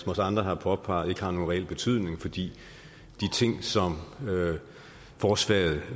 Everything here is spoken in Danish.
også andre har påpeget ikke har nogen reel betydning fordi de ting som forslaget